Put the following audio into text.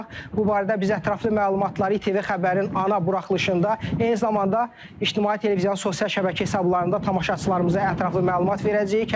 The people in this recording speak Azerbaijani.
Bu barədə biz ətraflı məlumatları ITV xəbərin ana buraxılışında, eyni zamanda ictimai televiziyanın sosial şəbəkə hesablarında tamaşaçılarımıza ətraflı məlumat verəcəyik.